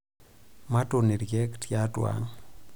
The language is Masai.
Matuun ilkeek tiatua ang'.